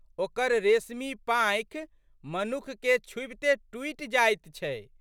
ओकर रेशमी पाँखि मनुखके छूबिते टूटि जाइत छै।